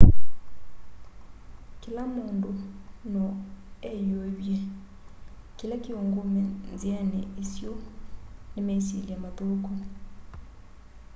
kĩla mũndũ no eyũĩvye.kĩla kĩũngũme nzĩanĩ ĩsyũ nĩ mesyĩlya mathũkũ